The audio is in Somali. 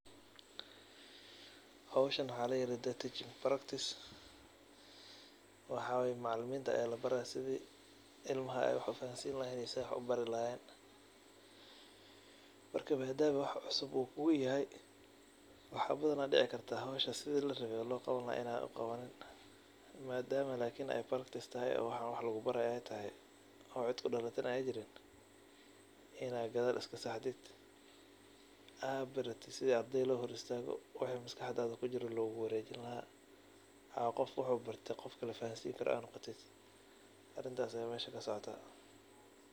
Howshan waxa ladaha teaching practise ilmaha ayablabaraya sida ey wax ubari lahayen ama ufahansini lahayen marka madama wax cusub kuyahay wax dici karta inii sida larawe in ad uqawanin madama ey wax lugubarayo tahay in ad gadal iskasaxdid oo baratid sida ardeyda lohoristago oo wixi maskaxda kujira loguwarejiyo oo qof waxu barte qof kale fahansini karo noqotid.